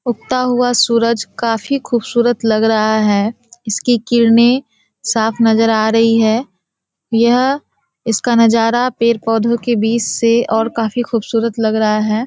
उगता हुआ सूरज काफी खूबसूरत लग रहा है इसकी किरने साफ नजर आ रही है यह इसका नजारा पेड़ पौधे के बीच से और काफी खूबसूरत लग रहा है।